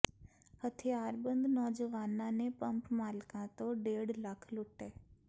ਹਥਿਆਰਬੰਦ ਨੌਜਵਾਨਾਂ ਨੇ ਪੰਪ ਮਾਲਕਾਂ ਤੋਂ ਡੇਢ ਲੱਖ ਲੁੱਟੇ